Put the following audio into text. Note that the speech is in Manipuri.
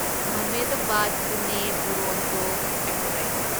ꯑꯍꯃꯦꯗꯕꯥꯗ ꯄꯨꯅꯦ ꯗꯨꯔꯣꯟꯇꯣ ꯑꯦꯛꯁꯄ꯭ꯔꯦꯁ